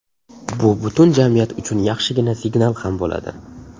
Bu butun jamiyat uchun yaxshigina signal ham bo‘ladi.